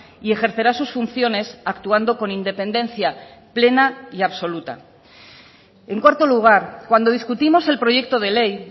y ejercerá sus funciones actuando con independencia plena y absoluta en cuarto lugar cuando discutimos el proyecto de ley